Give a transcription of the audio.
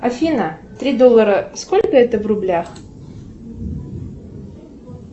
афина три доллара сколько это в рублях